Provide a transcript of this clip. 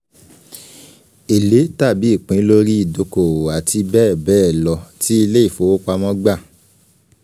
èlé tàbí ìpín lórí ìdókòwò àti bẹ́ẹ̀ bẹ́ẹ̀ lọ tí ilé ìfowopamọ́ gbà